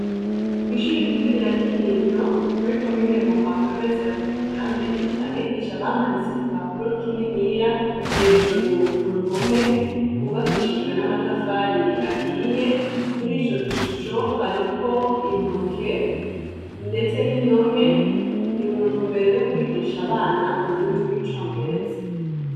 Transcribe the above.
Kwishure rito rya kinindo muri commune muha province ya bujumbura mairie abigisha bamanitse igipapuro kininiya hejuru uruhome gubakishijwe namatafari ahiye kurico gishusho hariko intoke ndetse nindome nimuntumbero yokwigisha abana ururimi rwicongereza